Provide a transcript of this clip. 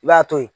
I b'a to ye